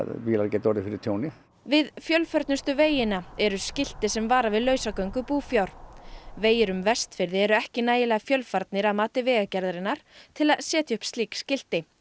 bílar geta orðið fyrir tjóni við fjölförnustu vegina eru skilti sem vara við lausagöng búfjár vegir um Vestfirði eru ekki nægilega fjölfarnir að mati Vegagerðarinnar til að setja upp slík skilti